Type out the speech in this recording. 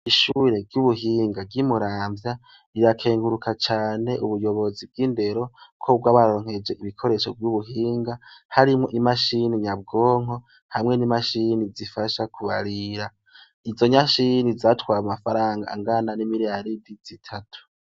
Ishure ry' ubuhinga ry' imuramvya rirakenguraka cane ubuyobozi bw' indero ko bwabaronkeje ibikoresho vy' ubuhinga harimwo imashini nyabwonko hamwe n' imashini zifasha kubarira izo mashini zatwaye amafaranga angana n' imiriyaridi zitatu.